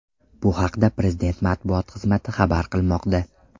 Bu haqda Prezident matbuot xizmati xabar qilmoqda.